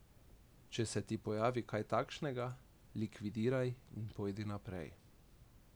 Če se ti pojavi kaj takšnega, likvidiraj in pojdi naprej.